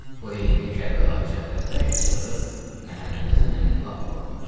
Bu heydə Kərbəlayı Cəfər bərk çığırıb Məhəmmədhəsən əmini lap qorxutdu.